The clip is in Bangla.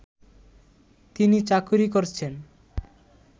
তিনি চাকরি করছেন